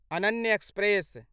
Ananya express